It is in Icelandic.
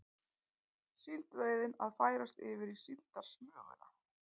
Síldveiðin að færast yfir í síldarsmuguna